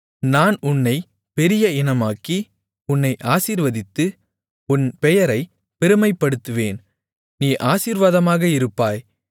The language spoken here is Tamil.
நான் உன்னைப் பெரிய இனமாக்கி உன்னை ஆசீர்வதித்து உன் பெயரைப் பெருமைப்படுத்துவேன் நீ ஆசீர்வாதமாக இருப்பாய்